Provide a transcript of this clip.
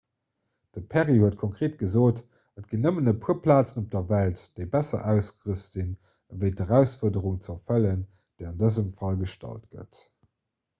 de perry huet konkreet gesot et ginn nëmmen e puer plazen op der welt déi besser ausgerüst sinn fir d'erausfuerderung ze erfëllen déi an dësem fall gestallt gëtt